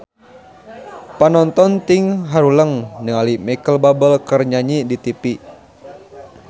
Panonton ting haruleng ningali Micheal Bubble keur nyanyi di tipi